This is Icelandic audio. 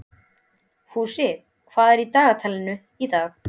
Fúsi, hvað er í dagatalinu í dag?